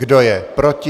Kdo je proti?